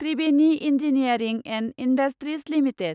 Tribeni engineering and industries limited